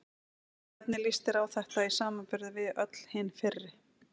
Og hvernig líst þér á þetta í samanburði við öll hin fyrri?